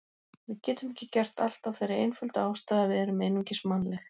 Við getum ekki gert allt af þeirri einföldu ástæðu að við erum einungis mannleg.